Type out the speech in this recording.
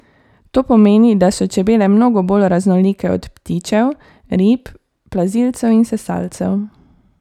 To pomeni, da so čebele mnogo bolj raznolike od ptičev, rib, plazilcev in sesalcev.